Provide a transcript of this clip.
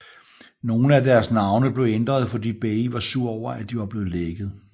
Nogle af deres navne blev ændret fordi Bay var sur over at de var blevet lækket